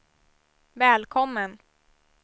välkommen